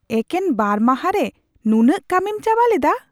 ᱮᱠᱮᱱ ᱵᱟᱨ ᱢᱟᱦᱟᱸ ᱨᱮ ᱱᱩᱱᱟᱹᱜ ᱠᱟᱹᱢᱤᱢ ᱪᱟᱵᱟ ᱞᱮᱫᱟ ?